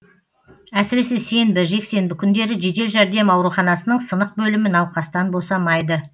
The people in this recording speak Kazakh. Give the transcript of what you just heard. әсіресе сенбі жексенбі күндері жедел жәрдем ауруханасының сынық бөлімі науқастан босамайды